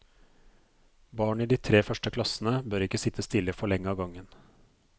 Barn i de tre første klassene bør ikke sitte stille for lenge av gangen.